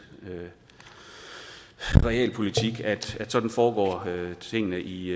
realpolitik om at sådan foregår tingene i